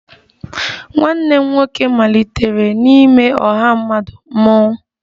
Nwanne m nwoke malitere n'ime ọha mmadụ mmọnwụ